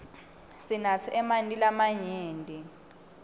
sinatse emanti lamanyenti